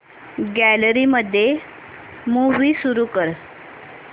gallery मध्ये movie सुरू कर